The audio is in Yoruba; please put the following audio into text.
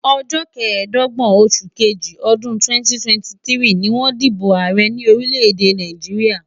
Ọjọ́ kẹẹ̀dọ́gbọ̀n oṣù kejì ọdún 2023 ni wọ́n dìbò ààrẹ ní orílẹ̀-èdè Nàìjíríà.